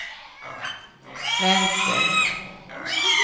vänster